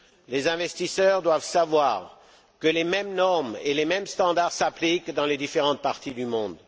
Les investisseurs doivent savoir que les mêmes normes et les mêmes standards s'appliquent dans les différentes parties du monde.